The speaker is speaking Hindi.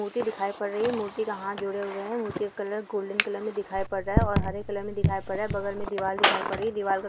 मूर्ति दिखाई पड़ रही है मूर्ति का हाथ जोड़े हुए है| मूर्ति का कलर गोल्डेन कलर में दिखाई पड़ रहा है और हरे कलर में दिखाई पड़ रहा है| बगल में एक दीवाल दिखाई पड़ रही है दीवाल का ----